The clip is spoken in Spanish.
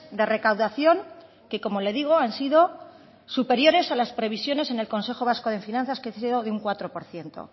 de recaudación que como le digo han sido superiores a las previsiones en el consejo vasco de finanzas que han sido de un cuatro por ciento